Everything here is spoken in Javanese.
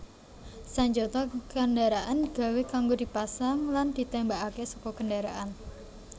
Sanjata kendaraan digawé kanggo dipasang lan ditémbakaké saka kendharaan